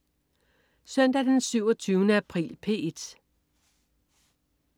Søndag den 27. april - P1: